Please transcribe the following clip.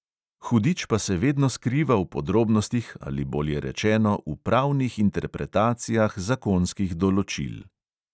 Hudič pa se vedno skriva v podrobnostih ali bolje rečeno v pravnih interpretacijah zakonskih določil.